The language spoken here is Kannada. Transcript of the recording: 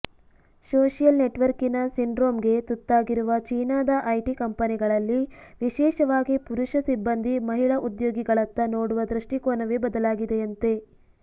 ಸೋಷಿಯಲ್ ನೆಟ್ವರ್ಕಿನ ಸಿಂಡ್ರೋಮ್ಗೆ ತುತ್ತಾಗಿರುವ ಚೀನಾದ ಐಟಿ ಕಂಪನಿಗಳಲ್ಲಿ ವಿಶೇಷವಾಗಿ ಪುರುಷ ಸಿಬ್ಬಂದಿ ಮಹಿಳಾ ಉದ್ಯೋಗಿಗಳತ್ತ ನೋಡುವ ದೃಷ್ಟಿಕೋನವೇ ಬದಲಾಗಿದೆಯಂತೆ